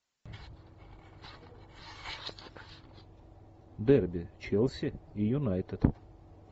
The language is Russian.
дерби челси и юнайтед